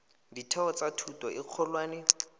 ditheo tsa thuto e kgolwane